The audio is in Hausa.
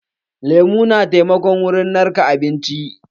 Lemu na taimako wurin narka abinci.